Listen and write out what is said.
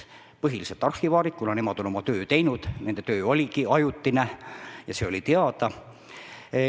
Need on põhiliselt arhivaarid, kuna nemad on oma töö teinud, nende töö oligi ajutine ja see oli teada.